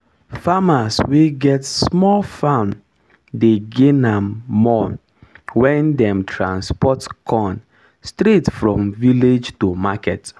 farmer wey get small farm dey gain am more when dem transport corn straight from village to market